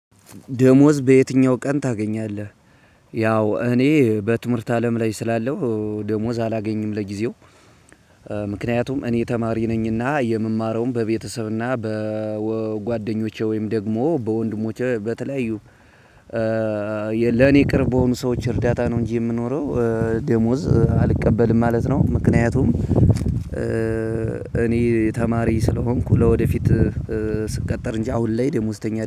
ደሞዝ በየትኛው ቀን ታገኛለህ? ያው እኔ በትምህርት አለም ላይ ስላለው ደሞዝ አላገኝም ለጊዜው። ምክንያቱም እኔ ተማሪ ነኝና የምማረውን በቤተሰብና በጓደኞቼ ወይም ደግሞ በወንድሞቼ በተለያዩ ለኔ ቅርብ በሆኑ ሰዎች እርዳታ ነው። እንጂ የምኖረው ደሞዝ አልቀበልም ማለት ነው። ምክንያቱም እኔ ተማሪ ስለሆንኩ ለወደፊት ስቀጠር እንጂ አሁን ላይ ደሞዝተኛ